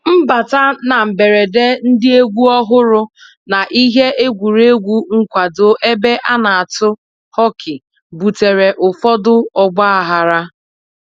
Mbata na mberede ndị egwu ọhụrụ na ihe egwuregwu nkwado ebe a na-atụ hockey butere ụfọdụ ọgbaghara